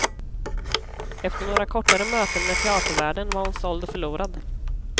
Efter några kortare möten med teatervärlden var hon såld och förlorad.